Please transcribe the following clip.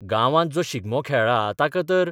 गांवांत जो शिगमो खेळ्ळा ताका तर